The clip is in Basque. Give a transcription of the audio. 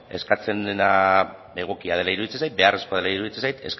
eskatzen dena egokia dela iruditzen zait beharrezkoa dela iruditzen zait